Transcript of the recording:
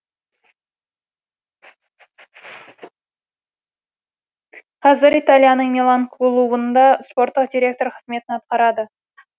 қазір италияның милан клубында спорттық директор қызметін атқарады